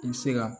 I bɛ se ka